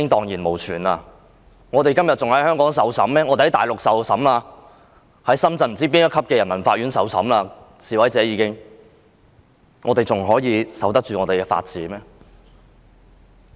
如果示威者會被送返大陸，在深圳不知道哪一級的人民法院受審，這樣我們還可以守得住法治嗎？